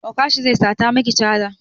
Okasha zai sata maki caza